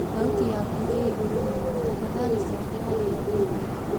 thaũtĩ yakũ ii ĩgũrũ mũno tafadhalĩ cokera io ii thĩĩ